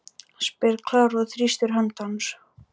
spyr Klara og þrýstir hönd hans.